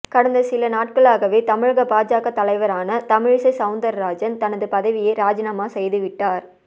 கடந்த சில நாட்களாகவே தமிழக பாஜக தலைவரான தமிழிசை சௌந்தரராஜன் தனது பதவியை ராஜினாமா செய்துவிட்டார்